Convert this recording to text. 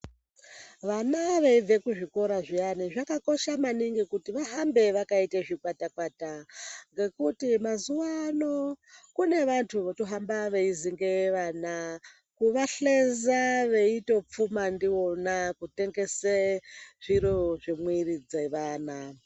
Vana veibve kuzvikora zviyana, zvakakosha maningi kuti vahambe vakaite zvikwata-kwata. Ngekuti mazuwa ano kune vantu votohamba veizingeye vana kuvahlenza, veitopfuma ndivona kutengese zviro zvemwiri dzevana.